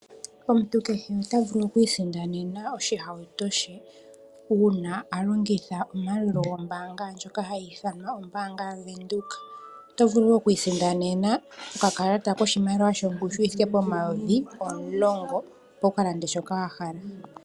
Omuntu kehe ota vulu oku isindanena oshihauto she uuna a longitha ombaanga ndjoka hayi ithanwa ombaanga ya Venduka. Oto vulu wo oku isindanena okakalata kongushu yoshimaliwa yi thike pomayovi omulongo, opo wu ka lande shoka wa hala.